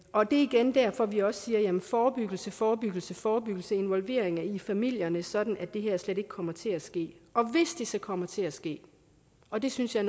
og det er igen derfor vi også siger forebyggelse forebyggelse forebyggelse involvering i familierne sådan at det her slet ikke kommer til at ske og hvis det så kommer til at ske og det synes jeg